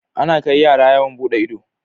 Ana Kai yara yawon buɗe ido